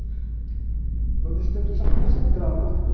Então, nesse tempo, ele já concentrava ali. Né?